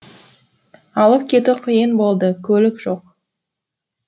алып кету қиын болды көлік жоқ